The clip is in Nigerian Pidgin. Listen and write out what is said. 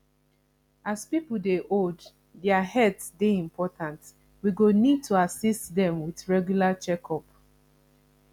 as pipo dey old their health dey important we go need to assist dem with regular checkup